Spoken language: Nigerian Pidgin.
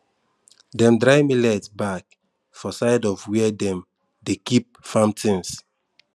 dem dry millet back for side of where dem de keep farm things